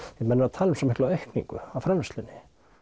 því menn eru að tala um svo mikla aukningu á framleiðslunni